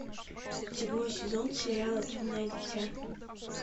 седьмой сезон сериала темное дитя